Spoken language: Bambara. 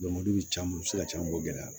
u bɛ se ka ca u gɛlɛya